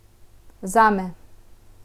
Zame.